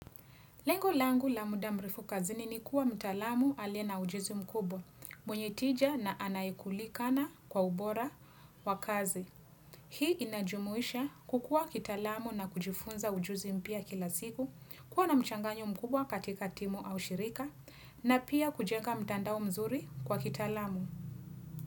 Lengo langu la muda mrefu kazini ni kuwa mtalamu aliye ujuzi mkubwa, mwenye tija na anayekulikana kwa ubora wa kazi. Hii inajumuisha kukua kitaalamu na kujifunza ujuzi mpya kila siku, kuwa na mchanganyo mkubwa katika timu au shirika, na pia kujenga mtandao mzuri kwa kitaalamu.